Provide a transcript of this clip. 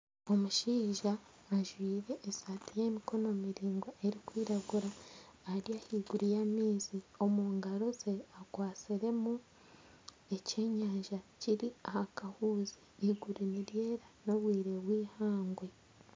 Omushaija ajwire esati y'emikono miraingwa erukwiragura ari ahaiguru y'amaizi omungaro ze akwatsiremu eky'enyanja kiri ahakahuzi iguru niryera n'obwire bwihangwe.